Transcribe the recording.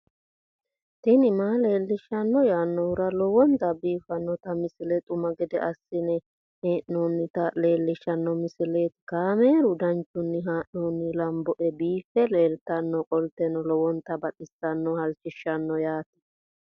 tini maa leelishshanno yaannohura lowonta biiffanota misile xuma gede assine haa'noonnita leellishshanno misileeti kaameru danchunni haa'noonni lamboe biiffe leeeltannoqolten lowonta baxissannoe halchishshanno yaate